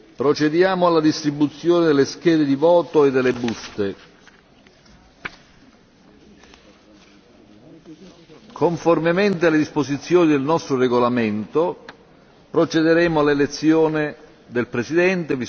Procediamo alla distribuzione delle schede di voto e delle buste. Conformemente alle disposizioni del nostro regolamento, procederemo all'elezione del Presidente.